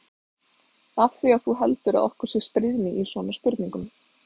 Af því að þú heldur að okkur sé stríðni í svona spurningum.